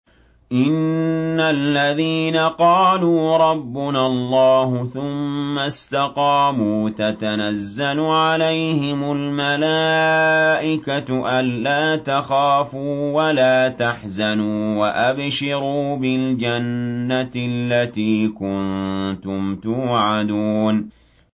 إِنَّ الَّذِينَ قَالُوا رَبُّنَا اللَّهُ ثُمَّ اسْتَقَامُوا تَتَنَزَّلُ عَلَيْهِمُ الْمَلَائِكَةُ أَلَّا تَخَافُوا وَلَا تَحْزَنُوا وَأَبْشِرُوا بِالْجَنَّةِ الَّتِي كُنتُمْ تُوعَدُونَ